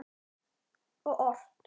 Og ort.